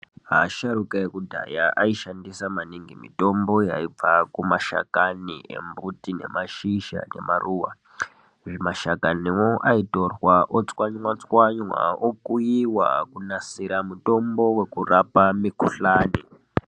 Asharuka akudhaya aishandisa maningi mitombo yaibva kumashakani embuti, nemashizha emaruwa Mashakaniwo aitorwa , otswanywa-tswanywa, okuiwa, kunasira mutombo wekurapa mikhuhlani.